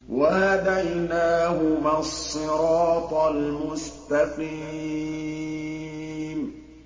وَهَدَيْنَاهُمَا الصِّرَاطَ الْمُسْتَقِيمَ